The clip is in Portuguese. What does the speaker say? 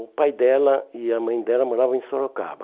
O pai dela e a mãe dela moravam em Sorocaba.